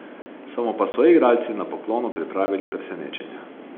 So mu pa soigralci na poklonu pripravili presenečenje.